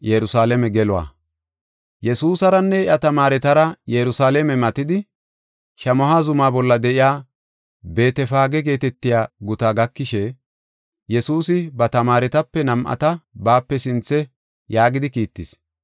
Yesuusaranne iya tamaaretara Yerusalaame matidi, Shamaho zuma bolla de7iya Beetefaage geetetiya gutaa gakishe, Yesuusi ba tamaaretape nam7ata baape sinthe yaagidi kiittis: